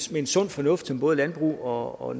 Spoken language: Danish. ved sund fornuft som både landbrug og og